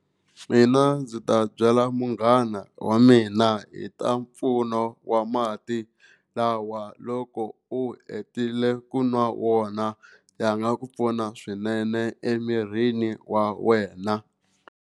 Mina ndzi ta byela munghana wa mina hi ta mpfuno wa mati lawa loko u hetile ku nwa wona ya nga ku pfuna swinene emirini wa wena.